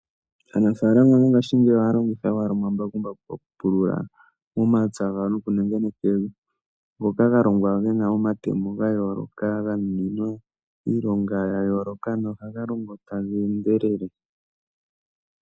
Aanafaalama mongashingeyi ohaya longitha omambakumbaku oku pulula momapya gawo noku nengeneka evi ,ngoka ga longwa gena omatemo ga yooloka, ga nuninwa iilonga ya yooloka, no ha ga longo taga endelele.